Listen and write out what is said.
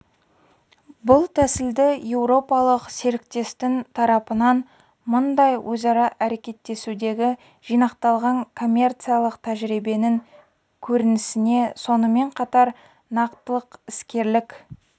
бұл тәсілді еуропалық серіктестің тарапынан мұндай өзара әрекеттесудегі жинақталған коммерциялық тәжірибенің көрінісіне сонымен қатар нақтылық іскерлік